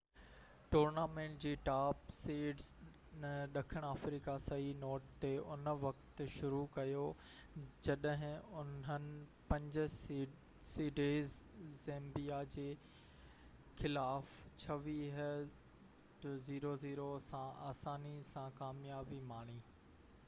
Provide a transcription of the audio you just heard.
tournament جي top seeds ڏکڻ آفريقا صحيح نوٽ تي ان وقت شروع ڪيو جڏهن انهن 5 سيڊيڊ زيمبيا جي خلاف 26 - 00 سان آساني سان ڪاميابي ماڻي